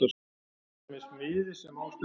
Hér er til dæmis miði sem á stendur